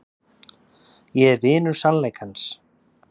Ég er vinur sannleikans.